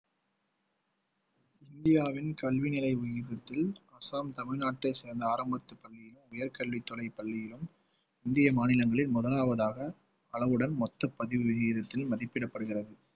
இந்தியாவின் கல்வி அசாம் தமிழ்நாட்டை சேர்ந்த ஆரம்பத்து பள்ளியில் உயர்கல்வித்துறை பள்ளியிலும் இந்திய மாநிலங்களில் முதலாவதாக அளவுடன் மொத்த பதிவு விகிதத்தில் மதிப்பிடப்படுகிறது